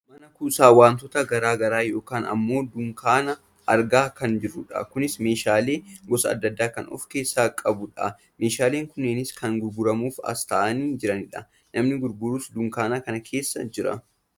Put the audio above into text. Mana kuusaa wantootaa gara garaa yookaan ammoo dunkaana argaa kan jirrudha. Kunis meeshaalee gosa adda addaa kan of keessaa qabudha . Meeshaalee kunniinis kan gurguramuuf as taa'anii jiranidha. Namni gurgurus dunkaana kana keessa jira.